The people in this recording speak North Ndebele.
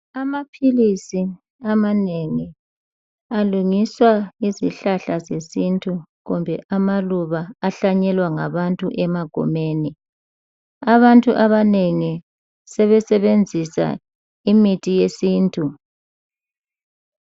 Amaphilisi amanengi alungiswa ngezihlahla zesintu kumbe amaluba ahlanyelwa ngabantu emagumeni. Abantu abanengi sebesebenzisa imithi yesintu.